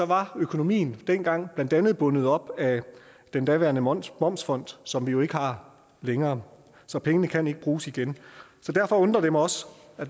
var økonomien dengang blandt andet bundet op af den daværende momsfond momsfond som vi jo ikke har længere så pengene kan ikke bruges igen derfor undrer det mig også